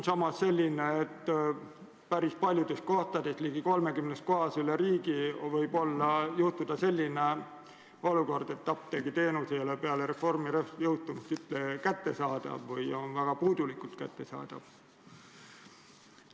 Samas, päris paljudes kohtades, ligi 30 kohas üle riigi võib tegelikult juhtuda selline olukord, et apteegiteenus ei ole peale reformi jõustumist üldse kättesaadav või on väga puudulikult kättesaadav.